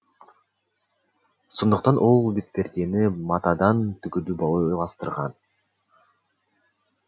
сондықтан ол бетпердені матадан тігуді ойластырған